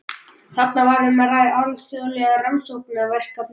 Þarna var um að ræða alþjóðleg rannsóknarverkefni.